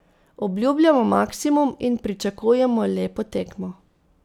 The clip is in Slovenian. Obljubljamo maksimum in pričakujemo lepo tekmo.